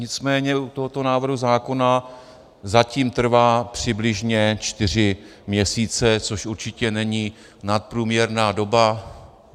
Nicméně u tohoto návrhu zákona zatím trvá přibližně čtyři měsíce, což určitě není nadprůměrná doba.